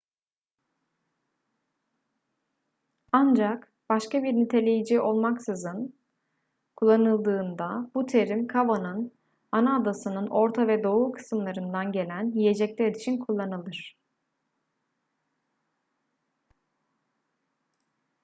ancak başka bir niteleyici olmaksızın kullanıldığında bu terim cava'nın ana adasının orta ve doğu kısımlarından gelen yiyecekler için kullanılır